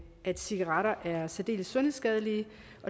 at cigaretter er særdeles sundhedsskadelige